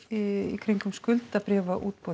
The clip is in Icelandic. í kringum skuldabréfaútboð